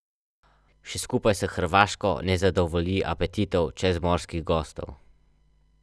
Saj sem rekel, da jadram proti šestdesetim in to jadranje ni mirno, kar sem si pa sam povzročal.